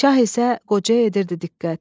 Şah isə qocaya edirdi diqqət.